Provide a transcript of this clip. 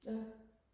ja